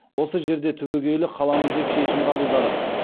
осы жерде түбегейлі қаламыз деп шешім қабылдадық